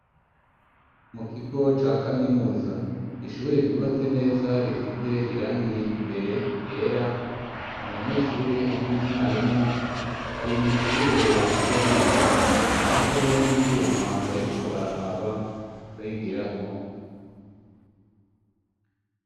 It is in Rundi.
mu kigo ca kaminuza, ishure ryubatse neza risize irangi imbere yera, abanyeshure hamwe na mwarimu bari mw'ishure bariko bariga, hariho n'ivyuma bariko bararaba barigirako.